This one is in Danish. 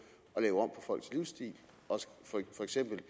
folks livsstil og for eksempel